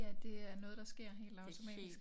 Ja det er noget der sker helt automatisk